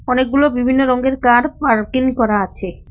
অনেকগুলো বিভিন্ন রঙের কার পার্কিং করা আছে।